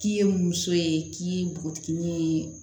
K'i ye muso ye k'i ye npogotiginin ye